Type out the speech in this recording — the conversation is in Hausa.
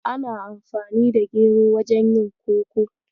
Ana amfani da gero wajen yin Koko.